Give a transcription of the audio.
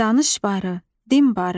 Danış barı, din barı.